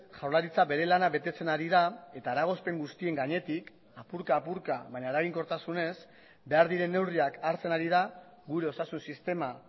jaurlaritza bere lana betetzen ari da eta eragozpen guztien gainetik apurka apurka baina eraginkortasunez behar diren neurriak hartzen ari da gure osasun sistema